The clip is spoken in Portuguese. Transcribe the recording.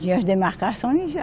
Tinha as demarcações.